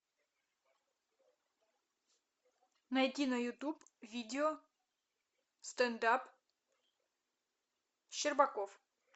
найти на ютуб видео стендап щербаков